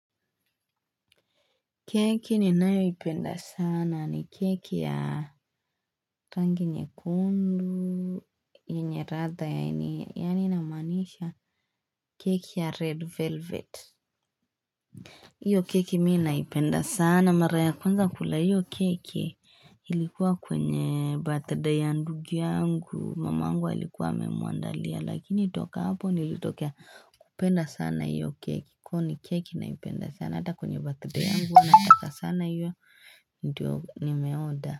Keki ninayoipenda sana ni keki ya rangi nyekundu yenye ladha yaani ninamaanisha keki ya red velvet. Hiyo keki mimi naipenda sana mara ya kwanza kula hiyo keki ilikuwa kwenye birthday ya ndugu yangu, mamangu alikuwa amemuandalia lakini toka hapo nilitokea kupenda sana hiyo keki kwani keki naipenda sana hata kwenye birthday yangu huwa nataka sana hiyo ndio nimeorder.